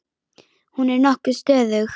Hún er nokkuð stöðug.